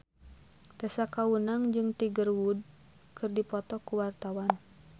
Tessa Kaunang jeung Tiger Wood keur dipoto ku wartawan